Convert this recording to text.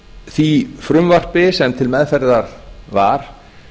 því frumvarpi sem til meðferðar var